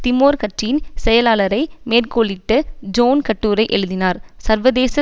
Timor கட்சியின் செயலளாரை மேற்கோளிட்டு ஜோன் கட்டுரை எழுதினார் சர்வேதேச